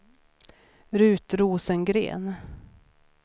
Rut Rosengren